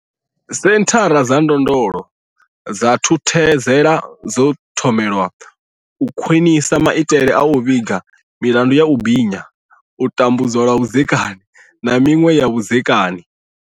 Senthara dza ndondolo dza Thuthuzela dzo thomelwa u khwinisa maitele a u vhiga milandu ya u binya, tambudzwa lwa vhudzekani, na miṅwe ya zwa vhudzekani.